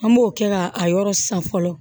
An b'o kɛ ka a yɔrɔ san fɔlɔ